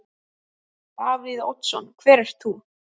Davíð Oddsson: Hver ert þú?